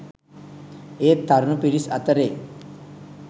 ඒත් තරුණ පිරිස් අතරේ